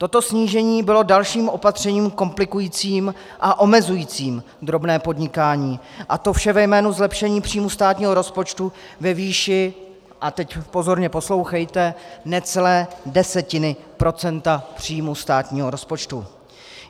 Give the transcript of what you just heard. Toto snížení bylo dalším opatřením komplikujícím a omezujícím drobné podnikání, a to vše ve jménu zlepšení příjmu státního rozpočtu ve výši - a teď pozorně poslouchejte - necelé desetiny procenta příjmu státního rozpočtu.